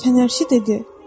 Fənərçi dedi.